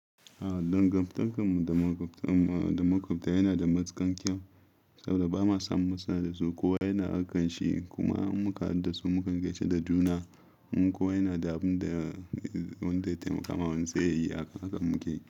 A dangantarkarmu da makwabta yana da matuƙan kyau saboda ba ma san muna da su. Kowa yana aikan shi kuma in muka hadu da su mukan gaisa da juna. Kowa yana da abin da wanda ya taimaka wa wani ya yi a kan muke.